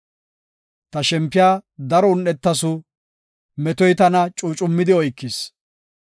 Ta shempiya daro un7etasu; metoy tana cuucummidi oykis.